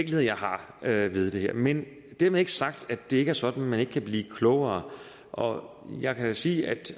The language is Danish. jeg har ved det her men dermed ikke sagt at det er sådan at man ikke kan blive klogere og jeg kan sige at